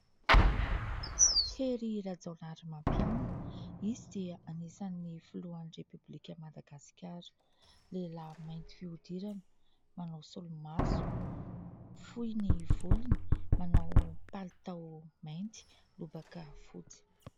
Hery Rajaonarimampianina. Izy dia anisan'ny filohan'ny repoblika Madagasikara. Lehilahy mainty fihodirana, manao solomaso, fohy ny volony, manao palitao mainty, lobaka fotsy.